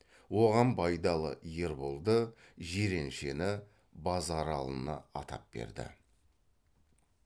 оған байдалы ерболды жиреншені базаралыны атап берді